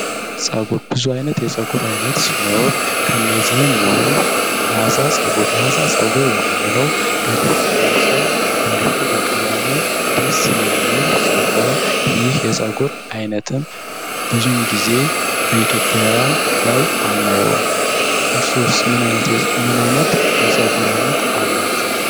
ፀጉር ብዙ አይነት የፀጉር አይነት ሲኖር ከእነዚህ ሙሉ ፀጉር ጸጉር የምንለው እንዲሁም በቀለሙ ደስ የሚል ሲሆን ይህ የፀጉር አይነትም በኢትዮጵያዊያን ላይ አናየው ምን አይነት ምን አይነት የፀጉር አይነት አላችሁ።